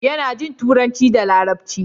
yana Jin turanci da larabci